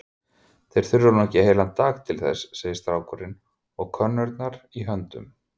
Þeir þurfa nú ekki heilan dag til þess, segir strákurinn og könnurnar í höndum